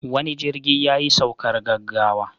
Wani jirgi yayi saukar gaggawa.